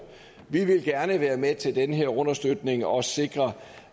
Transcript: vi vil gerne være med til den her understøtning og sikre